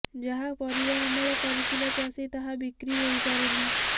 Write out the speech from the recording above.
ଯାହା ପରିବା ଅମଳ କରିଥିଲା ଚାଷୀ ତାହା ବିକ୍ରି ହୋଇପାରୁନି